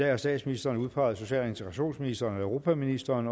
har statsministeren udpeget social og integrationsministeren og europaministeren